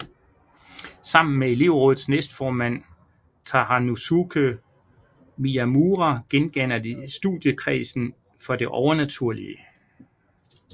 Sammen med elevrådets næstformand Toranosuke Miyamura gendanner de Studiekredsen for det Overnaturlige